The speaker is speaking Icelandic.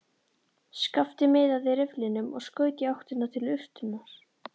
Skapti miðaði rifflinum og skaut í áttina til urtunnar.